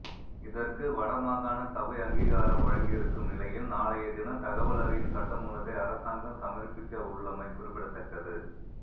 இதற்கு வடமாகாண சபை அங்கீகாரம் வழங்கியிருக்கும் நிலையில் நாளையதினம் தகவல் அறியும் சட்டமூலத்தை அரசாங்கம் சமர்ப்பிக்கவுள்ளமை குறிப்பிடத்தக்கது